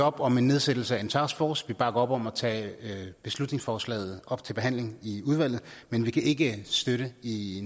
op om en nedsættelse af en taskforce vi bakker op om at tage beslutningsforslaget op til behandling i udvalget men vi kan ikke støtte det i